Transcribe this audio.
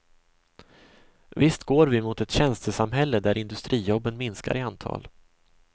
Visst går vi mot ett tjänstesamhälle där industrijobben minskar i antal.